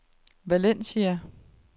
Valencia